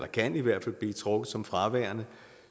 kan i hvert fald blive trukket som fraværende